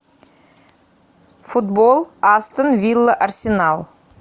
футбол астон вилла арсенал